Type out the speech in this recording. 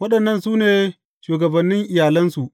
Waɗannan su ne shugabannin iyalansu.